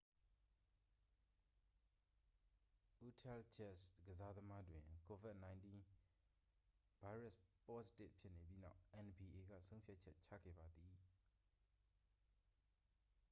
အူတဟ်ဂျက်ဇ် ကစားသမားတွင် covid-19 ဗိုင်းရပ်စ်ပေါ့စတစ်ဖြစ်နေပြီးနောက် nba က ဆုံးဖြတ်ချက်ချခဲ့ပါသည်